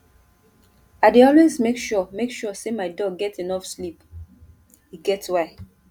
i dey always make sure make sure sey my dog get enough sleep e get why